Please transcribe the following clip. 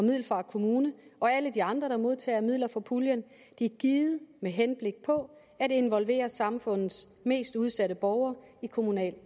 middelfart kommune og alle de andre der modtager midler fra puljen givet med henblik på at involvere samfundets mest udsatte borgere i kommunal